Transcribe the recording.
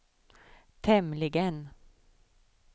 tämligen